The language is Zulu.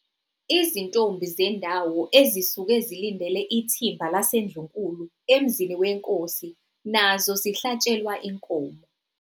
Izintombi zendawo ezisuke zilindele ithimba laseNdlunkulu emzini weNkosi nazo zihlatshelwa inkomo.